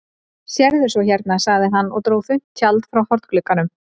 Sérðu svo hérna, sagði hann og dró þunnt tjald frá hornglugganum.